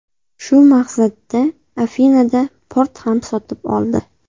Shu maqsadda Afinada port ham sotib oldi.